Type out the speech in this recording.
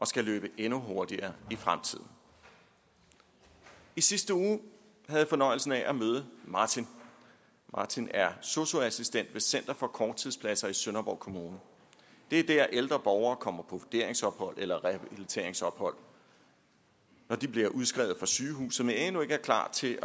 skal løbe endnu hurtigere i fremtiden i sidste uge havde jeg fornøjelsen af at møde martin martin er sosu assistent ved center for korttidspladser i sønderborg kommune det er der ældre borgere kommer på vurderingsophold eller rehabiliteringsophold når de bliver udskrevet fra sygehuset men endnu ikke er klar til